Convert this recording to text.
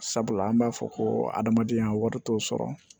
Sabula an b'a fɔ ko adamadenya wari t'o sɔrɔ